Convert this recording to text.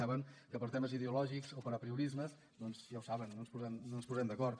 saben que per temes ideològics o per apriorismes doncs ja ho saben no ens posarem d’acord